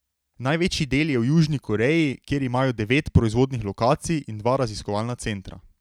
Največji del je v Južni Koreji, kjer imajo devet proizvodnih lokacij in dva raziskovalna centra.